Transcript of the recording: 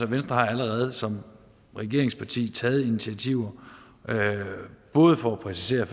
venstre har allerede som regeringsparti taget initiativer både for præcisere